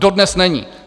Dodnes není.